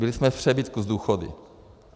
Byli jsme v přebytku s důchody.